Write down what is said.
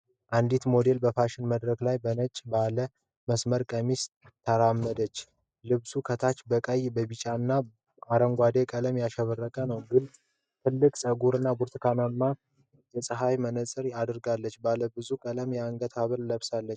አንዲት ሞዴል በፋሽን መድረክ ላይ በነጭ ባለ መስመር ቀሚስ ተራመደች። ልብሱ ከታች በቀይ፣ ቢጫና አረንጓዴ ቀለም ያሸበረቀ ነው። ትልቅ ፀጉርና ብርቱካናማ የፀሐይ መነጽር አድርጋለች። ባለብዙ ቀለም የአንገት ሐብል ለብሳለች።